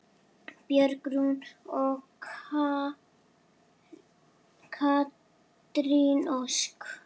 Björg Rún og Katrín Ósk.